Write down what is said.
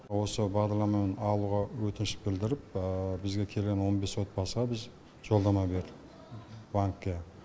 осы бағдарламамен алуға өтініш білдіріп бізге келген он бес отбасыға біз жолдама бердік банкке